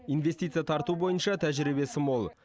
инвестиция тарту бойынша тәжірибесі мол